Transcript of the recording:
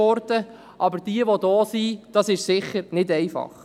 Aber für jene, die bereits hier sind, ist es sicher nicht einfach.